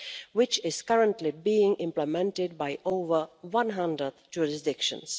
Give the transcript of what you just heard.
which is currently being implemented by over 100 jurisdictions.